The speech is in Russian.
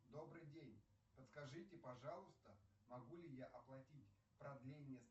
добрый день подскажите пожалуйста могу ли я оплатить продление